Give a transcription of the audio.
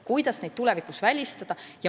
Kuidas neid eksimusi tulevikus välistada?